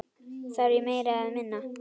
Þarf ég meira eða minna?